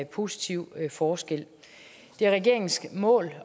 positiv forskel det er regeringens mål